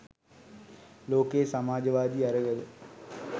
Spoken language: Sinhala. ලෝකයේ සමාජවාදී අරගල